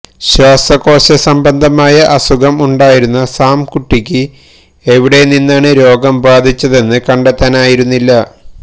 ശ്വാസകോശ സംബന്ധമായ അസുഖം ഉണ്ടായിരുന്ന സാംകുട്ടിക്ക് എവിടെ നിന്നാണ് രോഗം ബാധിച്ചതെന്ന് കണ്ടെത്താനായിരുന്നില്ല